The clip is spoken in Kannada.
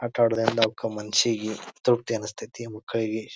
ಆಟ ಆಡೂದ್ರಿಂದ ಅವ್ಕ ಮನ್ಸಿಗೆ ತೃಪ್ತಿ ಅನ್ನಿಸತೈತಿ ಮಕ್ಕಳಿಗಿ .